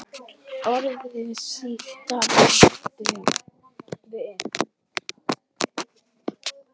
Orðið sítar átt við